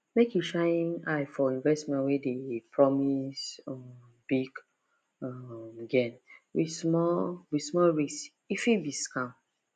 make you shine eye for investment wey dey promise um big um gain with small with small risk e fit be scam